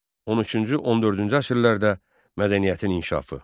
13-cü, 14-cü əsrlərdə mədəniyyətin inkişafı.